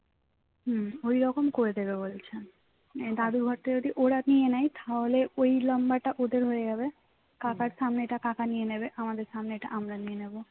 হুঁ ওইরকম করে দেবে বলছে আহ দাদুর ঘরটা যদি ওরা নিয়ে নেয় তাহলে ওই লম্বাটা ওদের হয়ে যাবে কাকার সামনেটা কাকা নিয়ে নেবে আমাদের সামনেটা আমরা নিয়ে নেব